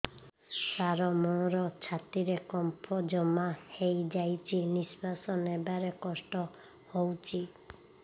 ସାର ମୋର ଛାତି ରେ କଫ ଜମା ହେଇଯାଇଛି ନିଶ୍ୱାସ ନେବାରେ କଷ୍ଟ ହଉଛି